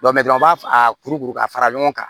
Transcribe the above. an b'a a kuru kuru ka fara ɲɔgɔn kan